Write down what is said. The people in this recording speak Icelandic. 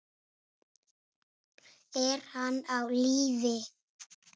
Er hann á lífi?